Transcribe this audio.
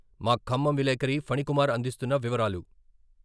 మా ఖమ్మం విలేకరి ఫణి కుమార్ అందిస్తున్న వివరాలు.